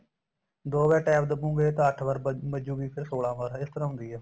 ਦੋ ਵਾਰ TAB ਦਬੋਗੇ ਤਾਂ ਅੱਠ ਵਾਰ ਵੱਜੂਗੀ ਤੇ ਸੋਲਾ ਵਾਰ ਇਸ ਤਰ੍ਹਾਂ ਹੁੰਦੀ ਏ